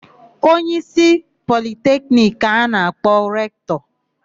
Onyeísí Politekiniki ka a na-akpọ Rektọ.